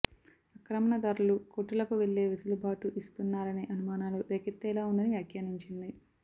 ఆక్రమణదారులు కోర్టులకు వెళ్లే వెసులుబాటు ఇస్తున్నారనే అనుమానాలు రేకెత్తేలా ఉందని వ్యాఖ్యానించింది